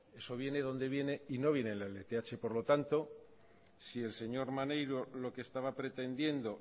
eso viene donde viene y no viene en la lth por lo tanto si el señor maneiro lo que estaba pretendiendo